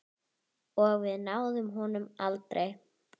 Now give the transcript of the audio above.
Og við náðum honum aldrei.